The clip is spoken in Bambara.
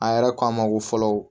A yɛrɛ ko a ma ko fɔlɔ